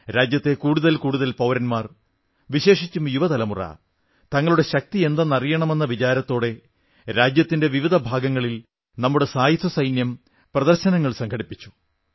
രാജ്യത്തെ കൂടുതൽ കൂടുതൽ പൌരന്മാർ വിശേഷിച്ചും യുവതലമുറ നമ്മുടെ ശക്തിയെന്തെന്നറിയണമെന്ന വിചാരത്തോടെ രാജ്യത്തിന്റെ വിവിധ ഭാഗങ്ങളിൽ നമ്മുടെ സായുധസൈന്യം പ്രദർശനങ്ങൾ സംഘടിപ്പിച്ചു